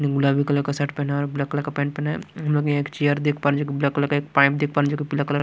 ने गुलाबी कलर का शर्ट पहना है और ब्लैक कलर का पेंट पहना है हम लोग यह एक चेयर देख पा रहे हैं जो कि ब्लैक कलर का एक पाइप देख पा रहे हैं जो कि पीला कलर --